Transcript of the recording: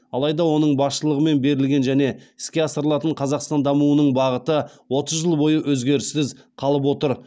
алайда оның басшылығымен берілген және іске асырылатын қазақстан дамуының бағыты отыз жыл бойы өзгеріссіз қалып отыр